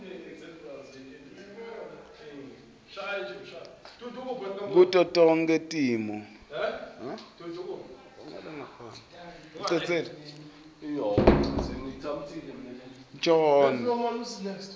kuto tonkhe timo